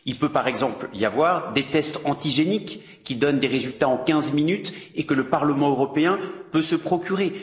Il peut, par exemple, y avoir des tests antigéniques qui donnent des résultats en quinze minutes et que le Parlement européen peut se procurer.